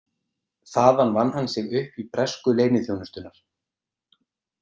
Þaðan vann hann sig upp í bresku leyniþjónustunnar.